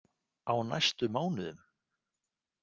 Á næstu mánuðum.